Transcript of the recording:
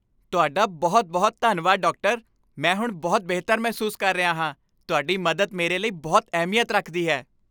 ਤੁਹਾਡਾ ਬਹੁਤ ਬਹੁਤ ਧੰਨਵਾਦ, ਡਾਕਟਰ! ਮੈਂ ਹੁਣ ਬਹੁਤ ਬਿਹਤਰ ਮਹਿਸੂਸ ਕਰ ਰਿਹਾ ਹਾਂ ਤੁਹਾਡੀ ਮਦਦ ਮੇਰੇ ਲਈ ਬਹੁਤ ਅਹਿਮੀਅਤ ਰੱਖਦੀ ਹੈ